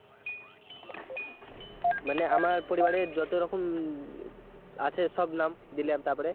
মানে আমার পরিবারের যতরকম আছে সব নাম দিলাম তারপরে?